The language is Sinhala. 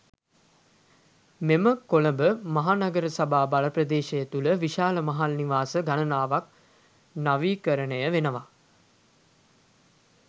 මෙම කොළඹ මහනගර සභා බල ප්‍රදේශය තුළ විශාල මහල් නිවාස ගණනාවක් නවීකරණය වෙනවා.